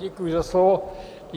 Děkuji za slovo.